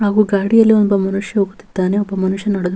ಸುತ್ತ ಆಹ್ ಮರಗಳಿವೆ ಅದು ಕಪ್ಪು ಬಣ್ಣದಾಗಿ ಕಾಣುತ್ತವೆ .